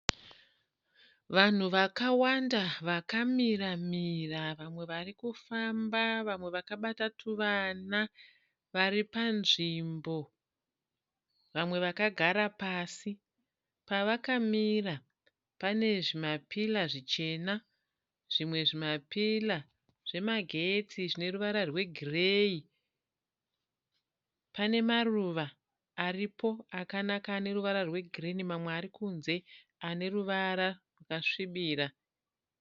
Vanhu vakawanda vakamira-mira. Vamwe varikufamba, vamwe vakabata tuvana, vari panzvimbo, vamwe vakagara pasi. Pavakamira pane zvima pillar zvichena. Zvimwe zvima pillar zvemagetsi zvine ruvara rwe gireyi. Pane maruva aripo akanaka aneruvara rwe girinhi, mamwe ari kunze aneruvara rwakasvibira.